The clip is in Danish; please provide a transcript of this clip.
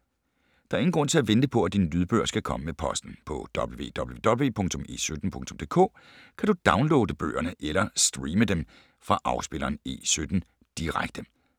Der er ingen grund til at vente på, at dine lydbøger skal komme med posten. På www.e17.dk kan du downloade bøgerne eller streame dem fra afspilleren E17 Direkte.